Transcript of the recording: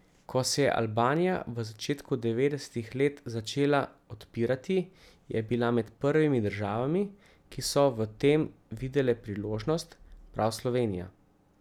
Ko se je Albanija v začetku devetdesetih let začela odpirati, je bila med prvimi državami, ki so v tem videle priložnost, prav Slovenija.